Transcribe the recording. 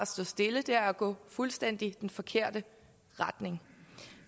stå stille det er at gå i fuldstændig forkerte retning